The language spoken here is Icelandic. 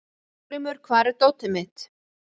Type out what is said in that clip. Hafgrímur, hvar er dótið mitt?